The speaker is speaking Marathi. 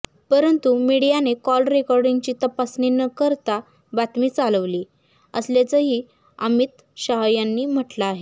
परंतु मीडियाने कॉल रेकॉर्डींगची तपासणी न करता बातमी चालविली असल्याचंही अमित शाह यांनी म्हटलं आहे